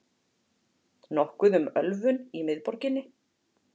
Nokkuð um ölvun í miðborginni